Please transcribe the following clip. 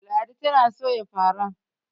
ladi tana Soya fara